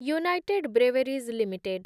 United breweries limited